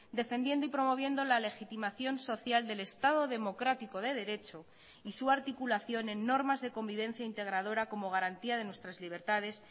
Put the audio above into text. defendiendo y promoviendo la legitimación social del estado democrático de derecho y su articulación en normas de convivencia integradora como garantía de nuestras libertades